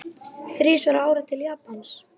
Þrisvar á ári til Japans?